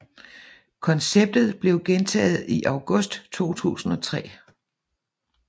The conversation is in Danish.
Konceptet blev gentaget i august 2003